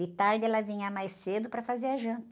De tarde ela vinha mais cedo para fazer a janta.